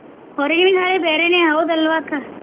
ಹೊರಗಿನ ಗಾಳಿ ಬ್ಯಾರೇನೆ ಹೌದಲ್ವಾ ಅಕ್ಕ?